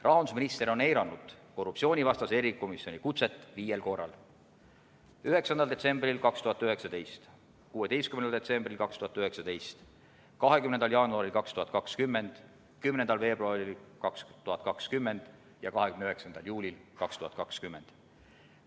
Rahandusminister on eiranud korruptsioonivastase erikomisjoni kutset viiel korral: 9. detsembril 2019, 16. detsembril 2019, 20. jaanuaril 2020, 10. veebruaril 2020 ja 29. juulil 2020.